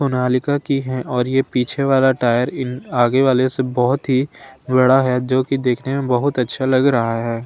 सोनालिका की है और ये पीछे वाला टायर इन आगे वाले से बहोत ही बड़ा है जो की देखने में बहुत अच्छा लग रहा है।